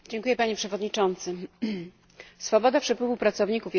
Swoboda przepływu pracowników jest jednym z fundamentów Unii Europejskiej.